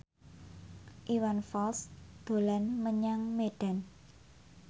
Iwan Fals dolan menyang Medan